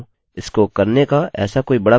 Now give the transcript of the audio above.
इसको करने का ऐसा कोई बड़ा प्रभावशाली तरीका नहीं है